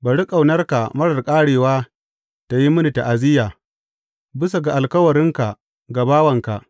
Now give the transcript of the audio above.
Bari ƙaunarka marar ƙarewa tă yi mini ta’aziyya, bisa ga alkawarinka ga bawanka.